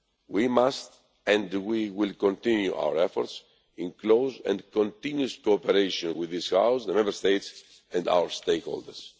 We must and we will continue our efforts in close and continuing cooperation with this House, the Member States and stakeholders.